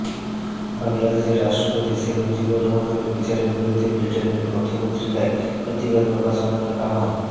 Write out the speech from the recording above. বাংলাদেশের রাষ্ট্রপতি শেখ মুজিবুর রহমানের বিচারের বিরুদ্ধে বৃটেনের পত্রপত্রিকায় প্রতিবাদ প্রকাশনার আহবান